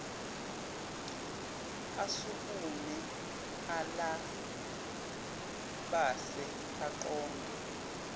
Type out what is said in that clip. asukume ulabase aqonde